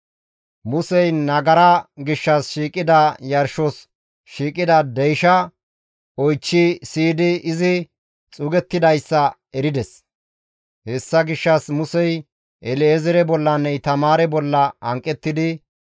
Musey nagara gishshas shiiqida yarshos shiiqida deyshaa oychchi siyidi izi xuugettidayssa erides; hessa gishshas Musey El7ezeere bollanne Itamaare bolla hanqettidi,